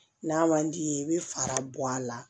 N'a man d'i ye i bɛ fara bɔ a la